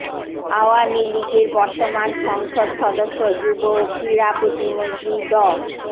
আওয়ামী লীগের বর্তমান সংসদ সদস্য যুব ও ক্রীড়া প্রতিমন্ত্রী ড